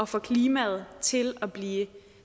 få klimaet til at blive